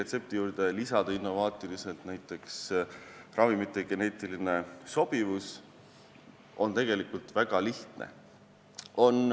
Sinna juurde lisada innovaatiliselt näiteks ravimite geneetiline sobivus on tegelikult väga lihtne.